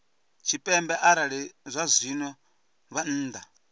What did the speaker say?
tshipembe arali zwazwino vha nnḓa